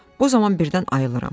Bu zaman birdən ayılıram.